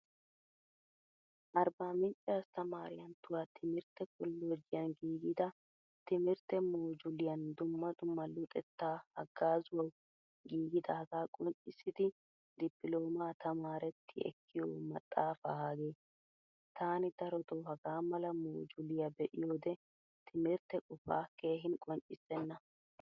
Arbbamincce asttamaaratyuwaa timirtte kollojiyan giigida timirtte moojuliyan dumma dumma luxettaa hagazzawu giigidaga qonccisidi dipilomaa tamaaretti ekkiyo maxaafaa hage. Tani darotto hagaamala moojuliyaa be'iyode timirtte qofaa keehin qonccisena.